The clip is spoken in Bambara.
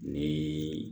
Ni